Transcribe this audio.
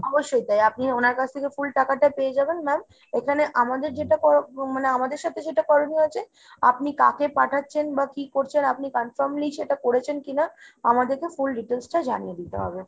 অবশ্যই তাই। আপনি ওনার কাছ থেকে full টাকাটাই পেয়ে যাবেন ma'am। এখানে আমাদের যেটা মানে আমাদের সাথে সেটা করণীয় আছে আপনি কাকে পাঠাচ্ছেন বা কী করছেন আপনি confirmly সেটা করেছেন কিনা, আমাদেরকে full details টা জানিয়ে দিতে হবে।